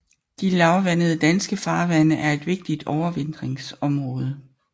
De lavvandede danske farvande er et vigtigt overvintringsområde